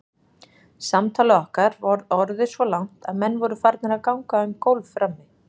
Samtalið okkar var orðið svo langt að menn voru farnir að ganga um gólf frammi.